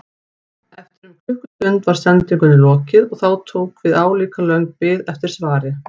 Eftir um klukkustund var sendingunni lokið og þá tók við álíka löng bið eftir svari.